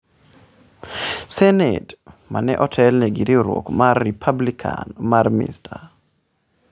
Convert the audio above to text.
Senate, ma ne otelne gi riwruok mar Republikan mar Mr.